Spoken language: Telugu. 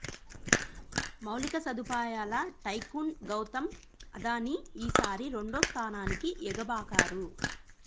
మౌలిక సదుపాయాల టైకూన్ గౌతమ్ అదానీ ఈసారి రెండో స్థానానికి ఎగ బాకారు